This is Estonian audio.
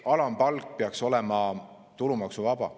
Alampalk peaks olema tulumaksuvaba.